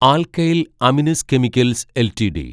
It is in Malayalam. alkyl amines chemicals LTD